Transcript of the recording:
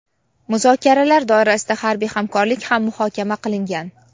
Muzokaralar doirasida harbiy hamkorlik ham muhokama qilingan.